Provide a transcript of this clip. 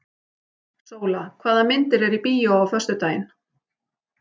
Sóla, hvaða myndir eru í bíó á föstudaginn?